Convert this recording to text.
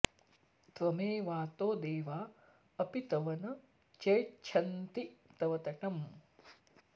त्वमेवातो देवा अपि तव न चेच्छन्ति तव तटं